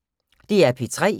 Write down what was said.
DR P3